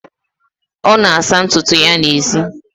ọ na-asa ntutu ya n'èzí